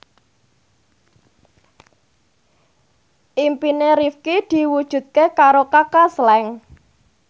impine Rifqi diwujudke karo Kaka Slank